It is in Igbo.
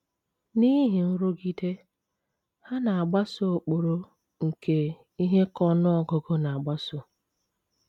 N’ihi nrụgide, ha na - agbaso ụkpụrụ nke ihe ka n’ọnụ ọgụgụ na - agbaso.